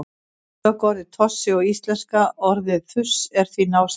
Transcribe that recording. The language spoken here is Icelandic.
tökuorðið tossi og íslenska orðið þurs eru því náskyld